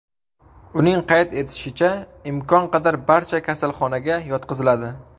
Uning qayd etishicha, imkon qadar barcha kasalxonaga yotqiziladi.